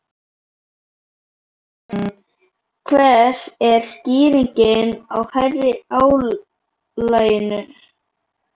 Telma Tómasson: Hver er skýringin á hærri álagningu?